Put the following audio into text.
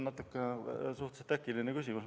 Vaat, see on natuke äkiline küsimus.